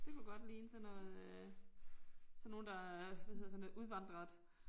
Det kunne godt ligne sådan noget øh. Sådan nogle der hvad hedder sådan noget udvandret